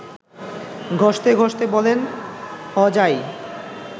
ঘসতে ঘসতে বলেন–হ যাই